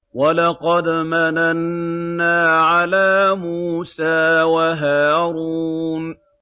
وَلَقَدْ مَنَنَّا عَلَىٰ مُوسَىٰ وَهَارُونَ